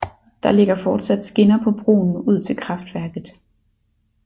Der ligger fortsat skinner på broen ud til kraftværket